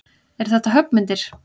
Eru þetta höggmyndir?